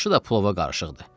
Başı da plova qarışıqdı.